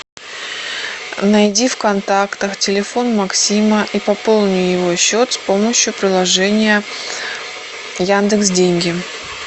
найди в контактах телефон максима и пополни его счет с помощью приложения яндекс деньги